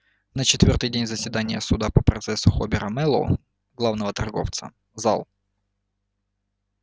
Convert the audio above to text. на четвёртый день заседания суда по процессу хобера мэллоу главного торговца зал